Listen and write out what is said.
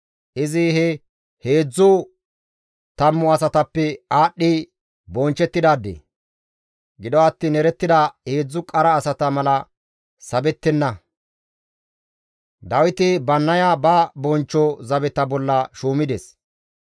Izi he heedzdzu tammu asatappe aadhdhi bonchchettidaade; gido attiin erettida heedzdzu qara asata mala sabettenna. Dawiti Bannaya ba bonchcho zabeta bolla shuumides.